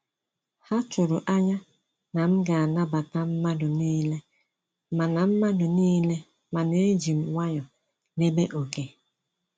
Ha tụrụ anya na m ga anabata mmadụ niile, mana mmadụ niile, mana ejim nwayọọ debe oké